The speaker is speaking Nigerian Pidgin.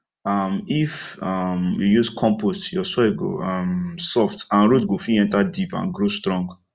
um if um you use compost your soil go um soft and root go fit enter deep and grow strong